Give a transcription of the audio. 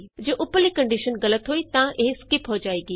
ਜੇ ਉਪਰਲੀ ਕੰਡੀਸ਼ਨ ਗਲਤ ਹੋਈ ਤਾਂ ਇਹ ਸਕਿਪ ਹੋ ਜਾਏਗੀ